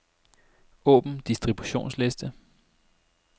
Åbn distributionsliste.